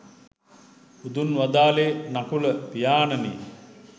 බුදුන් වදාළේ නකුල පියාණෙනි